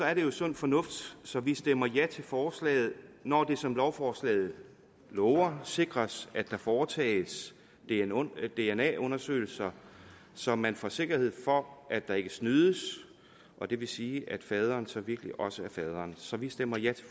er det jo sund fornuft så vi stemmer ja til forslaget når det som lovforslaget lover sikres at der foretages dna undersøgelser så man får sikkerhed for at der ikke snydes og det vil sige at faderen så virkelig også er faderen så vi stemmer ja